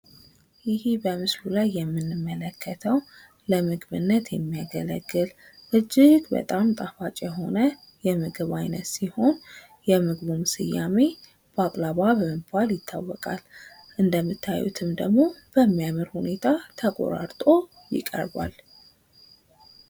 ይሄ በምስሉ ላይ የምንመለከተው ለምግብነት የሚያገለግል እጅግ በጣም ጣፋጭ የሆነ የምግብ አይነት ሲሆን፤ የምግቡም ስያሜ ባቅላባ በመባል ይታወቃል። እንደምታዩትም ደግሞ በሚያምር ሁኔታ ተቆራርጦ ይቀርባል።